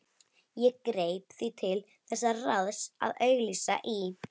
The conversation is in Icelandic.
Ég greip því til þess ráðs að auglýsa í